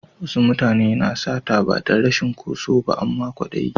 Wasu mutane na sata ba dan rashi ko so ba amma kwadayi.